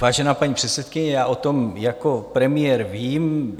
Vážená paní předsedkyně, já o tom jako premiér vím.